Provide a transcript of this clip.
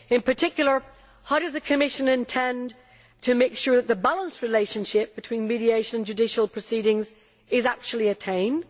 In particular, how does the Commission intend to make sure that the balanced relationship between mediation and judicial proceedings is actually attained?